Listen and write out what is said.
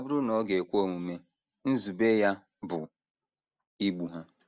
Ọ bụrụ na ọ ga - ekwe omume, nzube ya bụ igbu ha.